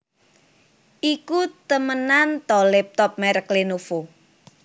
Iku temenan ta laptop merek Lenovo?